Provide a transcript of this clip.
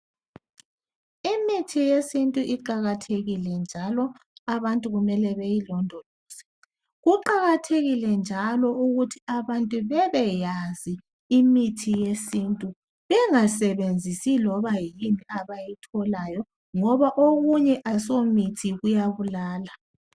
Imithi yesintu iqakathekile njalo abantu kumele beyi londoloze. Kuqakathekile njalo ukuthi abantu bebeyazi imithi yesintu bengasebenzisi iloba yini abayitholayo ngoba okunye asomithi kuya bulala.